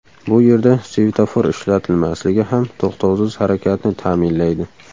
Bu yerda svetofor ishlatilmasligi ham to‘xtovsiz harakatni ta’minlaydi.